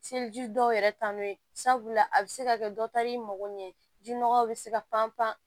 Seliji dɔw yɛrɛ taa n'o ye sabula a bi se ka kɛ dɔ taar'i mago ɲɛ jinɔgɔw be se ka pan pan